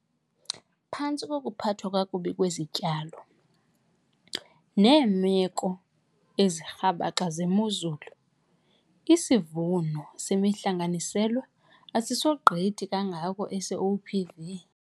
Phantsi kokuphathwa kakubi kwezityalo neemeko ezirhabaxa zemozulu, isivuno semihlanganiselwa asisogqithi kangako ese-OPV.